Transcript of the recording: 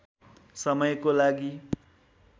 समयको लागि